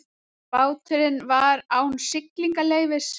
Báturinn var án siglingaleyfis